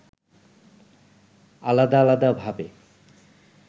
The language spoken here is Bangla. আলাদা আলাদা ভাবে